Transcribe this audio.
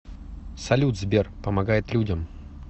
салют сбер помогает людям